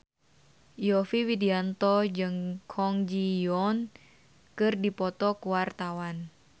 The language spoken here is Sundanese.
Yovie Widianto jeung Kwon Ji Yong keur dipoto ku wartawan